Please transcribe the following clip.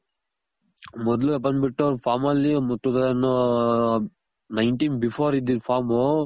ಮೊದ್ಲು ಬಂದ್ ಬಿಟ್ಟು farm ಅಲ್ಲಿ nineteen before ಇದ್ದಿದ್ದು ಫಾರ್ಮ್